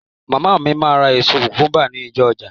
Màmá mi máa ra èso kùkúńbà ní ọjà.